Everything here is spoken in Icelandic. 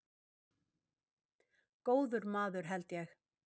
Góður maður held ég.